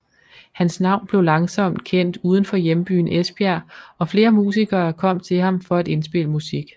Hans navn blev langsomt kendt uden for hjembyen Esbjerg og flere musikere kom til ham for at indspille musik